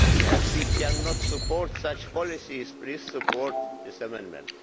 As we cannot support such policies, please support this amendment.